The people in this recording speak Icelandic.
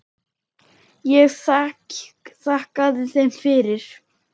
Ég þakkaði þeim fyrir.